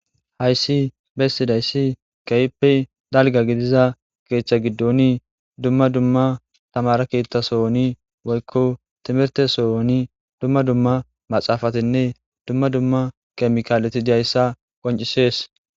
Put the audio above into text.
Hayssi bessidayssi keehippe dalgga gidiza keeththa giddoni dumma dumma tamare keeththa sohoni woykko timirte sooni dumma dumma maxaafatinne dumma dumma kemikaaleti diyayssa qoncisees.